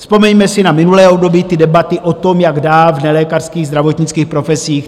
Vzpomeňme si na minulé období ty debaty o tom, jak dál v nelékařských zdravotnických profesích.